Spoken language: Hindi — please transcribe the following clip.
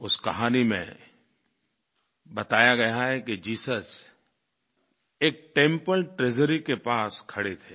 उस कहानी में बताया गया है कि जीसस एक टेम्पल ट्रेजरी के पास खड़े थे